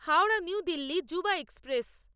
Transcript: Howrah new Delhi Yuva express